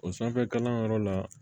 O sanfɛ kalanyɔrɔ la